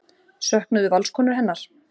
Söknuðu Valskonur hennar?